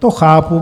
To chápu.